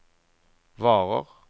varer